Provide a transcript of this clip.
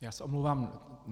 Já se omlouvám.